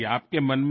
হ্যাঁ স্যার